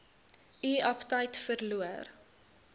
u aptyt verloor